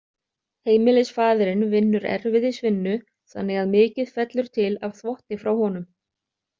Heimilisfaðirinn vinnur erfiðisvinnu þannig að mikið fellur til af þvotti frá honum.